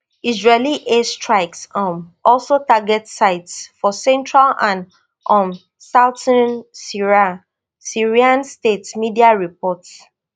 israeli air strikes um also target sites for central and um southern syria syrian state media report